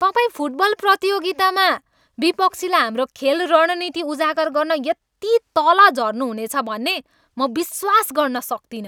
तपाईँ फुटबल प्रतियोगितामा विपक्षीलाई हाम्रो खेल रणनीति उजागर गर्न यति तल झर्नुहुनेछ भन्ने म विश्वास गर्न सक्दिनँ।